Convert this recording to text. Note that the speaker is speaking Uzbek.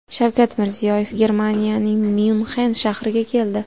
Shavkat Mirziyoyev Germaniyaning Myunxen shahriga keldi.